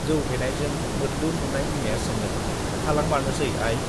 जौ फेनायजों मोद्लुन नुनाय बिमाया सोङो, थालांमारनोसै आइ?